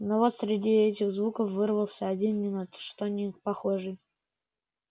но вот среди этих звуков вырвался один ни на что не похожий